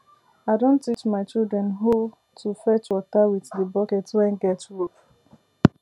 i don teach my children hoe to fetch water with the bucket wen get rope